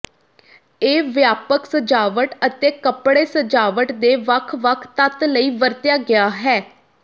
ਇਹ ਵਿਆਪਕ ਸਜਾਵਟ ਅਤੇ ਕੱਪੜੇ ਸਜਾਵਟ ਦੇ ਵੱਖ ਵੱਖ ਤੱਤ ਲਈ ਵਰਤਿਆ ਗਿਆ ਹੈ